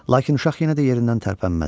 Lakin uşaq yenə də yerindən tərpənmədi.